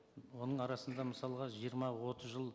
оның арасында мысалға жиырма отыз жыл